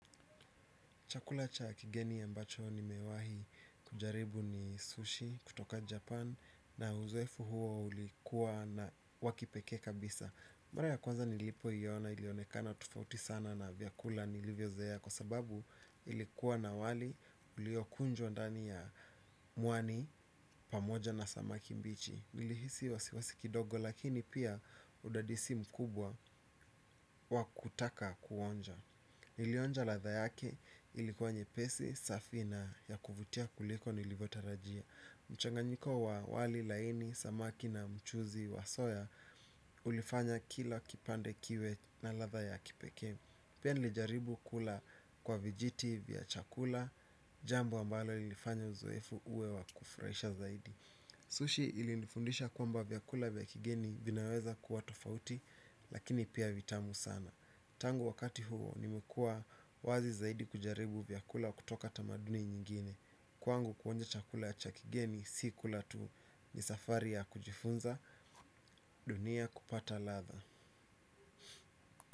Chakula cha kigeni ambacho ni nimewahi kujaribu ni sushi kutoka Japan na uzoefu huo ulikuwa na wa kipekee kabisa. Mara ya kwanza nilipo iyo na ilionekana tofauti sana na vyakula nilivyozoea kwa sababu ilikuwa na wali uliokunjwa ndani ya mwani pamoja na samaki mbichi. Nilihisi wasiwasi kidogo lakini pia udadisi mkubwa wa kutaka kuonja. Nilionja ladha yake ilikuwa nyepesi, safi na ya kuvutia kuliko nilivotarajia. Mchanganyiko wa wali laini, samaki na mchuzi wa soya ulifanya kila kipande kiwe na ladha ya kipekee. Pia nilijaribu kula kwa vijiti vya chakula, jambu wa ambalo lilifanya uzoefu uwe wa kufurahisha zaidi. Sushi ilifundisha kwamba vyakula vya kigeni vinaweza kuwa tofauti lakini pia vitamu sana. Tangu wakati huo nimekua wazi zaidi kujaribu vyakula kutoka tamaduni nyingine. Kwangu kuonja chakula ya cha kigeni si kula tu ni safari ya kujifunza dunia kupata ladha.